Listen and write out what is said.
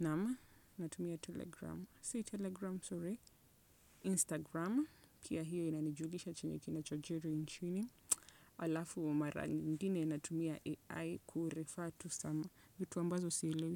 Naam natumia telegram. Si telegram sorry Instagram pia hiyo inanijulisha chenye kinachojiri nchini alafu mara nyingine natumia AI kureffer tu some. Vitu ambazo sielewi.